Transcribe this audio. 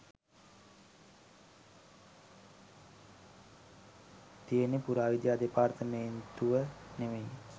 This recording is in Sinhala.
තියෙන්නේ පුරාවිද්‍යා දෙපාර්තුමේන්තුව නෙමෙයි.